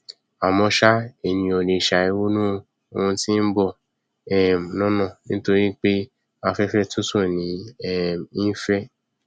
àmọ ṣá ènìyàn ò lè ṣàì ronú oun tí nbọ um lọnà níoripé afẹfẹ tútù ní um í fẹ